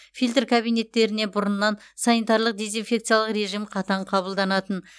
фильтр кабинеттеріне бұрыннан санитарлық дезинфекциялық режим қатаң қабылданатын